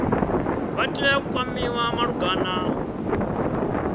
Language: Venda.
vha tea u kwamiwa malugana